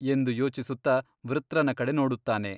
ಎಂದು ಯೋಚಿಸುತ್ತ ವೃತ್ರನ ಕಡೆ ನೋಡುತ್ತಾನೆ.